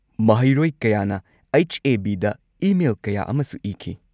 ꯃꯍꯩꯔꯣꯏ ꯀꯌꯥꯅ H. A. B. ꯗ ꯏꯃꯦꯜ ꯀꯌꯥ ꯑꯃꯁꯨ ꯏꯈꯤ꯫